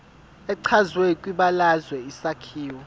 echazwe kwibalazwe isakhiwo